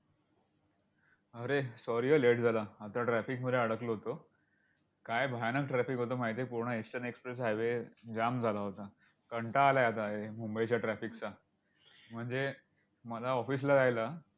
अरे! Sorry हा late झाला. आता traffic मध्ये अडकलो होतो. काय भयानक traffic होतं माहिती आहे. पूर्ण एशियन एक्सप्रेस हायवे जाम झाला होता. कंटाळा आलाय आता मुंबईच्या traffic चा. म्हणजे मला office ला जायला